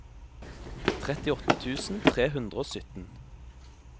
trettiåtte tusen tre hundre og sytten